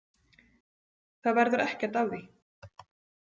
Það verður ekkert af því.